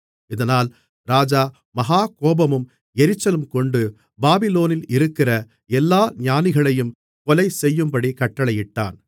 இதனால் ராஜா மகா கோபமும் எரிச்சலுங்கொண்டு பாபிலோனில் இருக்கிற எல்லா ஞானிகளையும் கொலைசெய்யும்படி கட்டளையிட்டான்